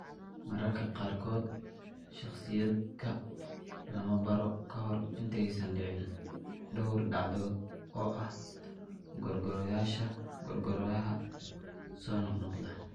Mararka qaarkood, shakhsiyaadka lama baaro ka hor intaysan dhicin dhowr dhacdo oo ah qoorgooyaha soo noqnoqda.